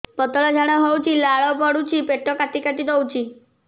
ପତଳା ଝାଡା ହଉଛି ଲାଳ ପଡୁଛି ପେଟ କାଟି କାଟି ଦଉଚି